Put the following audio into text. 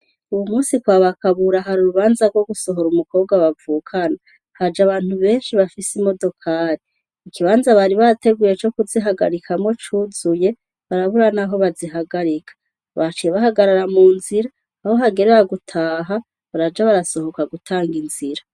Uyu musi kwa ba Kabura har'urubanza gwo gusohora umukobwa bavukana, haje abantu benshi bafise imodokari, ikibanza bari bateguye co kuzihagarikamwo cuzuye barabura naho bazihagarika. Baciye bahagarara munzira, aho hagerera gutaha, baraza barasohoka gutang'inzira.